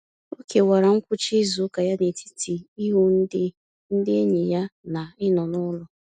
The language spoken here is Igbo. O kewara ngwụcha izuụka ya n'etiti ịhụ ndị ndị enyi ya na ịnọ n'ụlọ.